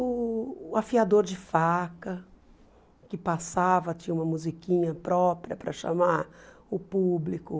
O afiador de faca que passava, tinha uma musiquinha própria para chamar o público.